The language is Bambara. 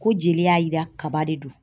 Ko jeli y'a yira kaba de don.